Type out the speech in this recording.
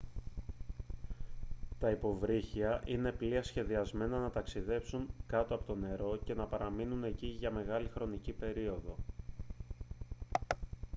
τα υποβρύχια είναι πλοία σχεδιασμένα να ταξιδεύουν κάτω από το νερό και να παραμένουν εκεί για μεγάλη χρονική περίοδο